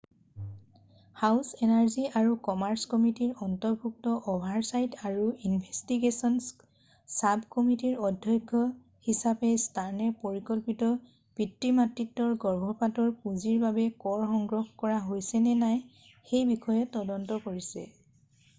House energy আৰু commerce কমিটিৰ অন্তৰ্ভুক্ত অ’ভাৰচাইট আৰু ইনভেষ্টিগে’চ্‌ন্‌চ চাবকমিটিৰ অধ্যক্ষ হিচাপে ষ্টাৰ্নে পৰিকল্পিত পিতৃ-মাতৃত্বৰ গৰ্ভপাতৰ পূঁজিৰ বাবে কৰ সংগ্ৰহ কৰা হৈছেনে নাই সেইবিষয়ে তদন্ত কৰিছে।